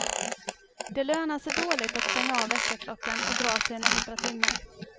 Det lönar sig dåligt att stänga av väckarklockan och dra sig en extra timme.